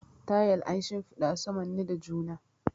Tayel an shimfiɗa su manne da juna.